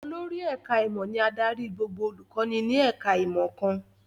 Olórí ẹ̀ká ìmọ̀ ni adarí gbogbo olùkọ́ni ní ẹ̀ká ìmọ̀ kan